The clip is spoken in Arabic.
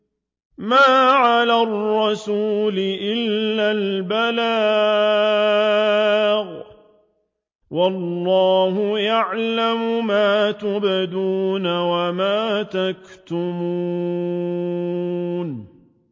مَّا عَلَى الرَّسُولِ إِلَّا الْبَلَاغُ ۗ وَاللَّهُ يَعْلَمُ مَا تُبْدُونَ وَمَا تَكْتُمُونَ